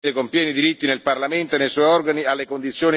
Ho ricevuto dal gruppo ALDE una richiesta di nomina di una commissione.